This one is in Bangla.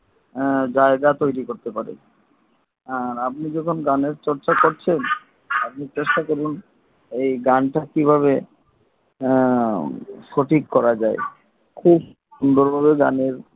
হ্যা জায়গা তৈরি করতে পারে আর আপনি যখন গানের চর্চা করছেন আর আপনি চেষ্টা করবেন এই গান তা কীভাবে সঠিক করা যায় খুব সুন্দর ভাবে গানের